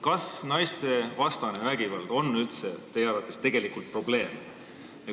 Kas naistevastane vägivald on üldse teie arvates probleem?